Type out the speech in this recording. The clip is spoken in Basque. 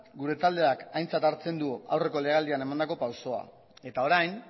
gure taldeak aintzat hartzen du aurreko lege aldian emandako pausoa eta orain